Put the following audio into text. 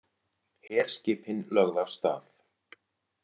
Herskipin lögð af stað